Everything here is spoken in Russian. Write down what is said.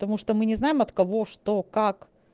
потому что мы не знаем от кого что как